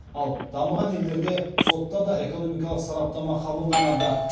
ал дамыған елдерде сотта да экономикалық сараптама қабылданады